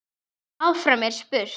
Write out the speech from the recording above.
Áfram er spurt.